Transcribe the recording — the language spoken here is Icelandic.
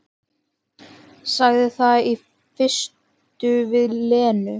Sagði það í fyrstu við Lenu.